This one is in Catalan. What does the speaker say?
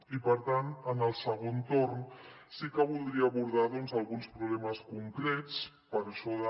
i per tant en el segon torn sí que voldria abordar alguns problemes concrets per això de